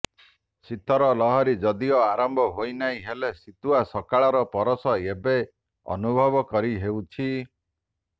ଶୀତର ଲହରୀ ଯଦିଓ ଆରମ୍ଭ ହୋଇନାହିଁ ହେଲେ ଶୀତୁଆ ସକାଳର ପରଶ ଏବେ ଅନୁଭବ କରିହେଉଛି